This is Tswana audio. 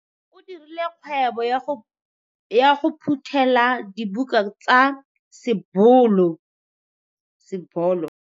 O dirile kgwebô ya go phuthêla dibuka tsa sebolo.